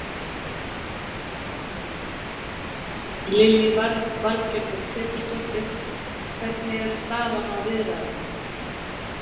Lillý Valgerður Pétursdóttir: Hvernig er staðan á viðræðunum?